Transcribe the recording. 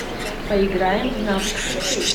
поиграем в навык хоккей